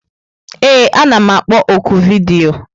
Ee, anam akpọ ọ́kụ vidiyo.